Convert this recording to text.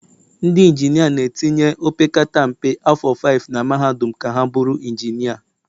ndị injinia na-etinye opekata mpe afọ 5 na mahadum ka ha bụrụ injinia